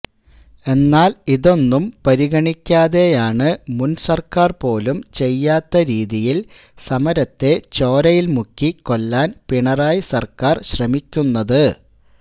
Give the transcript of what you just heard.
എന്നാൽ ഇതൊന്നും പരിഗണിക്കാതെയാണ് മുൻസർക്കാർ പോലും ചെയ്യാത്ത രീതിയിൽ സമരത്തെ ചോരയിൽ മുക്കി കൊല്ലാൻ പിണറായി സർക്കാർ ശ്രമിക്കുന്നത്